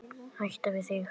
Hætt við þig.